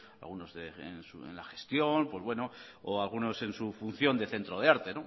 algunos en la gestión pues bueno o algunos en su función de centro de arte